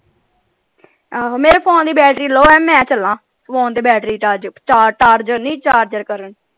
ਆਹੋ ਮੇਰੇ ਫੋਨ ਦੀ ਬੈਟਰੀ ਲੋ ਆ ਮੈਂ ਚਲਾਂ ਫੋਨ ਦੀ ਬੈਟਰੀ ਚਾਰਜ ਚਾਰਜਰ ਨਹੀਂ ਚਾਰਜਰ ਕਰਨ।